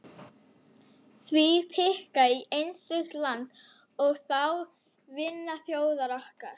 Hví pikka í einstök lönd, og þá vinaþjóðir okkar.